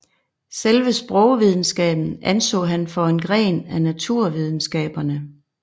Selve sprogvidenskaben anså han for en gren af naturvidenskaberne